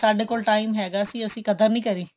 ਵੀ ਸਾਡੇ ਕੋਲ ਹੈਗਾ ਸੀ ਅਸੀਂ ਕਦਰ ਨਹੀਂ ਕਰੀ